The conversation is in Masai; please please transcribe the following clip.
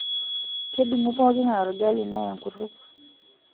kedungu pookin ngae orgali neya enkutuk